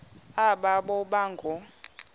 aba boba ngoo